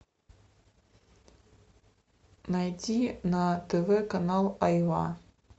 найди на тв канал айва